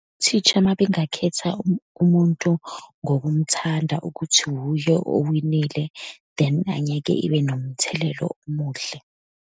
U-teacher uma engakhetha umuntu ngokumthanda ukuthi wuye owinile, then angeke ibe nomthelelo omuhle.